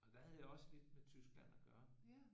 Der havde jeg også lidt med Tyskland at gøre